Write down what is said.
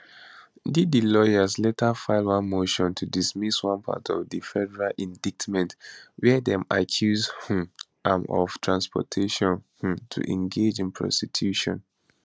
diddy lawyers later file one motion to dismiss one part of di federal indictment wia dem accuse um am of transportation um to engage in prostitution